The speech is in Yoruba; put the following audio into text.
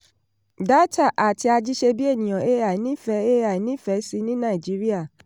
dátà àti ajíṣebíèèyàn ai nífẹ́ ai nífẹ́ sí ní nàìjíríà